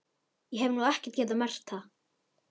Ég hef nú ekki getað merkt það.